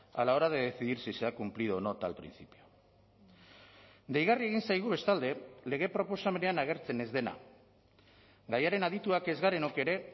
a la hora de decidir si se ha cumplido o no tal principio deigarri egin zaigu bestalde lege proposamenean agertzen ez dena gaiaren adituak ez garenok ere